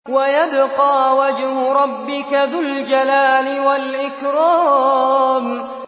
وَيَبْقَىٰ وَجْهُ رَبِّكَ ذُو الْجَلَالِ وَالْإِكْرَامِ